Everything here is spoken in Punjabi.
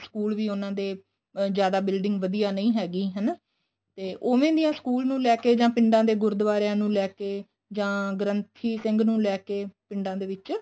school ਵੀ ਉਹਨਾ ਦੇ ਅਹ ਜਿਆਦਾ building ਵਧੀਆ ਨਹੀਂ ਹੈਗੀ ਹਨਾ ਤੇ ਉਵੇ ਦੀਆਂ school ਨੁੰ ਲੈਕੇ ਜਾਂ ਪਿੰਡਾਂ ਦੇ ਗੁਰੂਦੁਵਾਰਿਆ ਨੂੰ ਲੈਕੇ ਜਾਂ ਗ੍ਰੰਥੀ ਸਿੰਘ ਨੂੰ ਲੈਕੇ ਪਿੰਡਾਂ ਦੇ ਵਿੱਚ